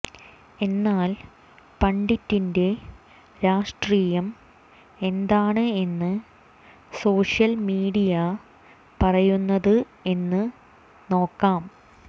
എന്നാൽ പണ്ഡിറ്റിന്റെ രാഷ്ട്രീയം എന്താണ് എന്ന് സോഷ്യൽ മീഡിയ പറയുന്നത് എന്ന് നോക്കാം